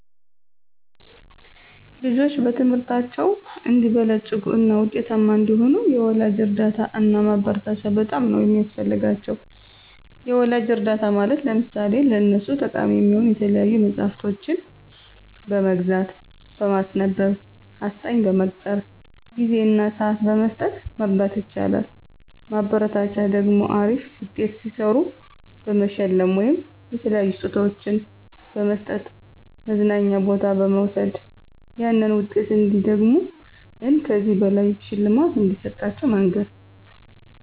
ልጆች በትምህርታቸው አንዲበለጽጉ እና ውጤታማ እንዲሆኑ የወላጅ እርዳታ እና ማበረታቻ በጣም ነው ሚያስፈልጋቸው። የወላጅ እርዳታ ማለት ለምሳሌ ለነሱ ጠቃሚ የሆኑ የተለያዩ መፅሐፍቶችን በመግዛት፣ በማስነበብ፣ አስጠኝ በመቅጠር፣ ጊዜ እና ስዓት በመስጠት መርዳት ይቻላል። ማበረታቻ ደግሞ አሪፍ ውጤት ሲሰሩ በመሸለም ወይም የተለያዩ ስጦታዎችን በመስጠት፣ መዝናኛ ቦታ በመውሰድ ያንን ውጤት እንዲደግሙት እን ከዚህ በላይ ሽልማት እንደሚሰጣቸው መንገር